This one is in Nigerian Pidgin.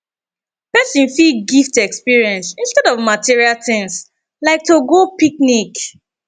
persin fit gift experience instead of material things like to go picnic